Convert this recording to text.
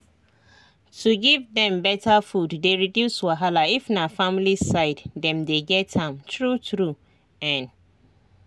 to give dem better food dey reduce wahala if na family side dem dey get am true true ehn